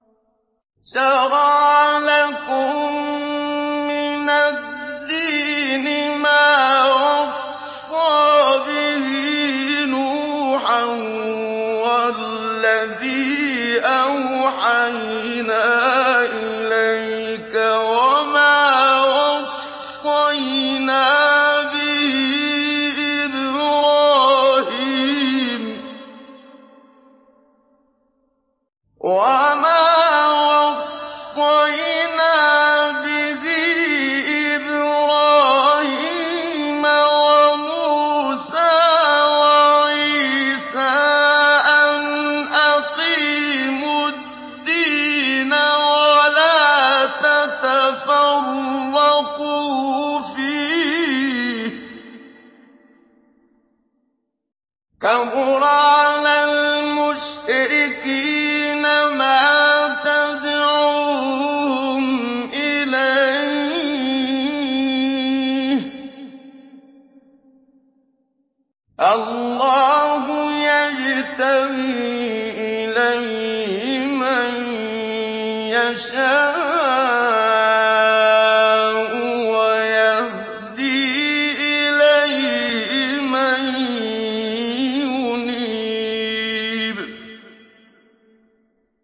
۞ شَرَعَ لَكُم مِّنَ الدِّينِ مَا وَصَّىٰ بِهِ نُوحًا وَالَّذِي أَوْحَيْنَا إِلَيْكَ وَمَا وَصَّيْنَا بِهِ إِبْرَاهِيمَ وَمُوسَىٰ وَعِيسَىٰ ۖ أَنْ أَقِيمُوا الدِّينَ وَلَا تَتَفَرَّقُوا فِيهِ ۚ كَبُرَ عَلَى الْمُشْرِكِينَ مَا تَدْعُوهُمْ إِلَيْهِ ۚ اللَّهُ يَجْتَبِي إِلَيْهِ مَن يَشَاءُ وَيَهْدِي إِلَيْهِ مَن يُنِيبُ